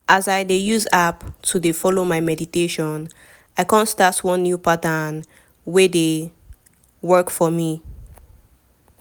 as i dey use app to dey follow my meditation i kon start one new pattern wey dey wait! work for me.